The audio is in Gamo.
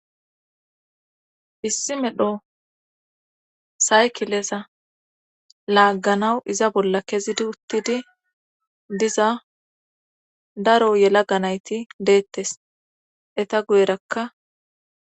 Issi medho saykileza laagganawu iza bolla kezidi uttidi diza daro yela ga nayti deettes eta guyerakka